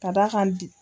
Ka d'a kan